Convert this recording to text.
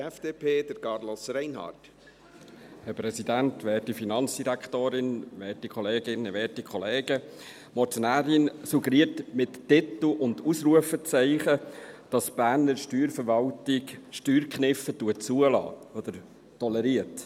Die Motionärin suggeriert mit Titel und Ausrufezeichen, dass die Berner Steuerverwaltung Steuerkniffe zulässt oder toleriert.